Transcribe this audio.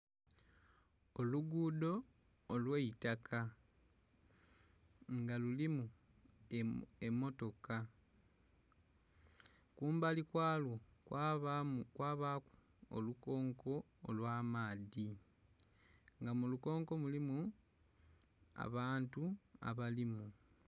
Olugudho olwaitaka nga lulimu emotoka, kumbali kwalwo kwabaku olukonko olwa amaadhi. Nga mulukonko mulimu abantu abalimu.